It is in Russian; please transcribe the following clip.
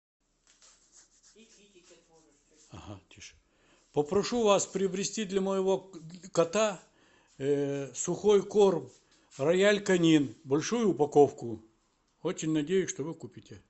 попрошу вас приобрести для моего кота сухой корм роял конин большую упаковку очень надеюсь что вы купите